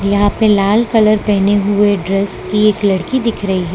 यहां पे लाल कलर पहने हुए ड्रेस की एक लड़की दिख रही है।